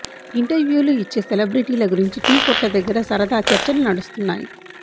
ఇంటర్వ్యూలు ఇచ్చే సెలెబ్రెటీల గురించి టీ కొట్ల దగ్గర సరదా చర్చలు నడుస్తున్నాయి